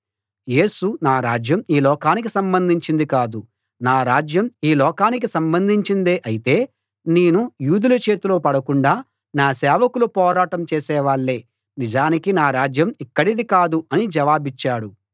యేసు నా రాజ్యం ఈ లోకానికి సంబంధించింది కాదు నా రాజ్యం ఈ లోకానికి సంబంధించిందే అయితే నేను యూదుల చేతిలో పడకుండా నా సేవకులు పోరాటం చేసేవాళ్ళే నిజానికి నా రాజ్యం ఇక్కడిది కాదు అని జవాబిచ్చాడు